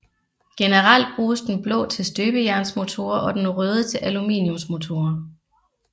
Generelt bruges den blå til støbejernsmotorer og den røde til aluminiumsmotorer